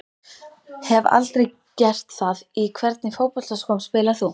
Hef aldrei gert það Í hvernig fótboltaskóm spilar þú?